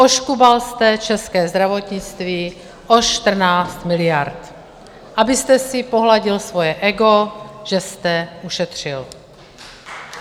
Oškubal jste české zdravotnictví o 14 miliard, abyste si pohladil svoje ego, že jste ušetřil.